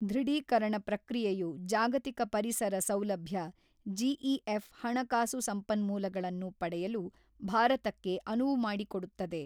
ದೃಢೀಕರಣ ಪ್ರಕ್ರಿಯೆಯು ಜಾಗತಿಕ ಪರಿಸರ ಸೌಲಭ್ಯ ಜಿಇಎಫ್ ಹಣಕಾಸು ಸಂಪನ್ಮೂಲಗಳನ್ನು ಪಡೆಯಲು ಭಾರತಕ್ಕೆ ಅನುವು ಮಾಡಿಕೊಡುತ್ತದೆ.